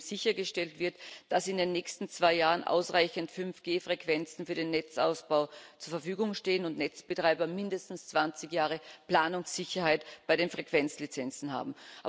Nämlich indem sichergestellt wird, dass in den nächsten zwei Jahren ausreichend 5G Frequenzen für den Netzausbau zur Verfügung stehen und Netzbetreiber mindestens 20 Jahre Planungssicherheit bei den Frequenzlizenzen haben.